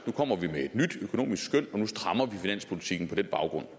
nu kommer vi med et nyt økonomisk skøn og nu strammer vi finanspolitikken på den baggrund